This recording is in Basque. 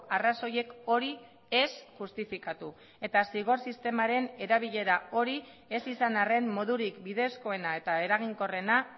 arrazoiek hori ez justifikatu eta zigor sistemaren erabilera hori ez izan arren modurik bidezkoena eta eraginkorrena